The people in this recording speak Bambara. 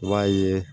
I b'a ye